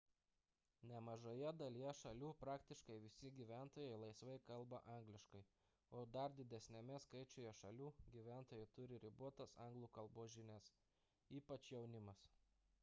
nemažoje dalyje šalių praktiškai visi gyventojai laisvai kalba angliškai o dar didesniame skaičiuje šalių gyventojai turi ribotas anglų kalbos žinias ypač jaunimas